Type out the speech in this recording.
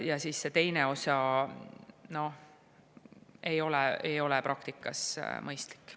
Ja see teine osa ei ole praktikas mõistlik.